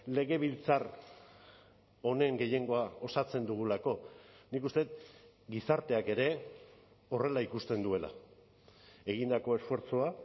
legebiltzar honen gehiengoa osatzen dugulako nik uste dut gizarteak ere horrela ikusten duela egindako esfortzua